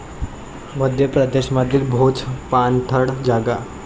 मध्य प्रदेश मधील भोज पाणथळ जागा